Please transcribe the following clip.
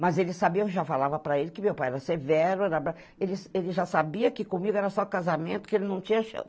Mas ele sabia, eu já falava para ele que meu pai era severo, era bravo, ele ele já sabia que comigo era só casamento, que ele não tinha chão.